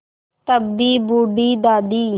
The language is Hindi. तब भी बूढ़ी दादी